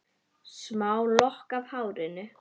Smá lokk af hárinu.